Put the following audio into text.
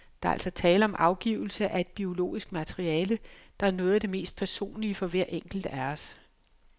Der er altså tale om afgivelse af et biologisk materiale, der er noget af det mest personlige for hver enkelt af os.